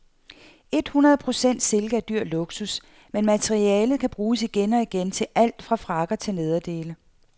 Et hundrede procent silke er dyr luksus, men materialet kan bruges igen og igen til alt fra frakker til nederdele.